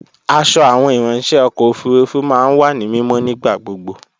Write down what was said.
Aṣọ àwọn ìráńṣẹ́ ọkọ̀ òfurufú máa ń wà ní mímọ́ nígbà gbogbo